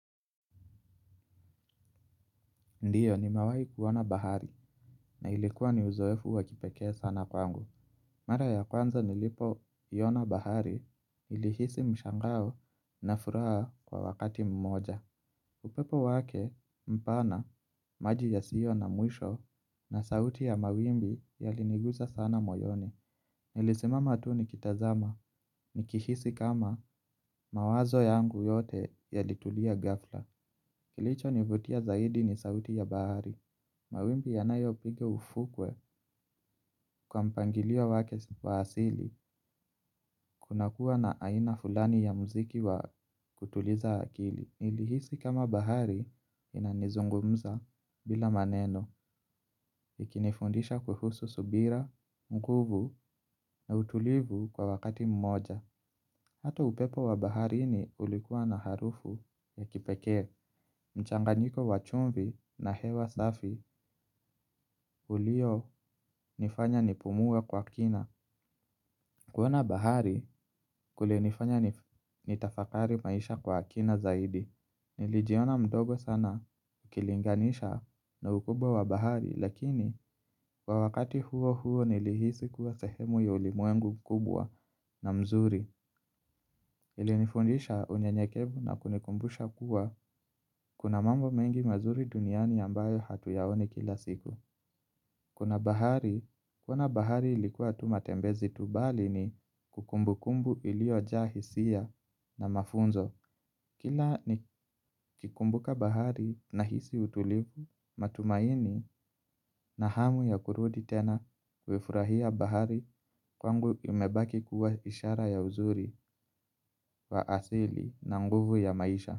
Ndiyo nimewai kuona bahari na ilikuwa ni uzoefu wakipekea sana kwangu. Mara ya kwanza nilipoiona bahari nilihisi mshangao na furaha kwa wakati mmoja. Upepo wake mpana maji ya sio na mwisho na sauti ya mawimbi yalinigusa sana moyoni. Nilisimama tu ni kitazama ni kihisi kama mawazo yangu yote yalitulia ghafla. Kilicho nivutia zaidi ni sauti ya bahari. Mawimbi yanayo piga ufukwe kwa mpangilio wake wa asili. Kuna kuwa na aina fulani ya mziki wa kutuliza akili. Nili hisi kama bahari inanizungumza bila maneno. Ikinifundisha kuhusu subira, nguvu na utulivu kwa wakati mmoja. Hata upepo wa baharini ulikuwa na harufu ya kipeke. Mchanganyiko wachumbi na hewa safi ulio nifanya nipumuwe kwa kina. Kuona bahari kulinifanya nitafakari maisha kwa kina zaidi. Nilijiona mdogo sana ukilinganisha na ukubwa wa bahari. Lakini kwa wakati huo huo nilihisi kuwa sehemu ya ulimuengu kubwa na mzuri. Ilinifundisha unyenyekevu na kunikumbusha kuwa kuna mambo mengi mazuri duniani ambayo hatu yaoni kila siku. Kuna bahari, kuona bahari ilikuwa tumatembezi tubali ni kumbukumbu iliojaa hisia na mafunzo. Kila ni kikumbuka bahari na hisi utulivu, matumaini na hamu ya kurudi tena kuifurahia bahari kwangu imebaki kuwa ishara ya uzuri wa asili na nguvu ya maisha.